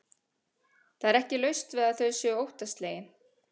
Það er ekki laust við að þau séu óttaslegin.